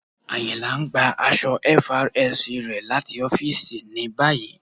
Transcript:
Ayìnla n gbà àṣọ̀ FRSC rẹ̀ láti ọ̀fìísì ní báyì.